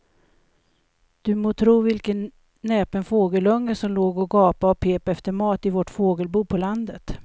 Du må tro vilken näpen fågelunge som låg och gapade och pep efter mat i vårt fågelbo på landet.